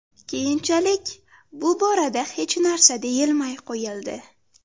Keyinchalik, bu borada hech narsa deyilmay qo‘yildi.